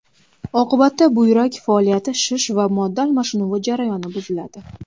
Oqibatda buyrak faoliyati, shish va modda almashinuvi jarayoni buziladi.